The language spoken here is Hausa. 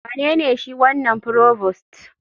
Wanene shi wanan provost?